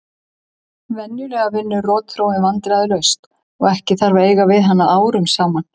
Venjulega vinnur rotþróin vandræðalaust og ekki þarf að eiga við hana árum saman.